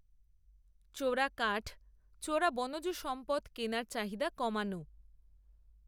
চোরা কাঠ, চোরা বনজ সম্পদ কেনার চাহিদা কমানো